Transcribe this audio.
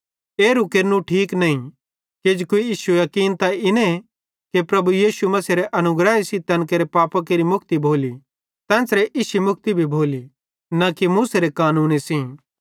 एरू केरनू ठीक नईं किजोकि इश्शू याकीन त इने कि प्रभु यीशु मसीहेरे अनुग्रह सेइं तैन केरे पापां केरि मुक्ति भोली तेन्च़रे इश्शी मुक्ति भोली न कि मूसेरे कानूने सेइं